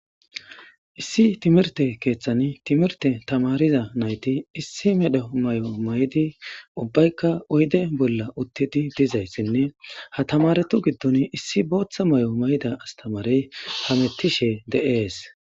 issi timirte keeththani timirte tamariza nayti issi medho may7o maydi ubbaykka oyde bolla uttidi dizayssinne ha tamaretu giddoni issi booththa may7o mayda astamarey hamettishe de7ees